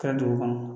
Kɛra dugu kɔnɔ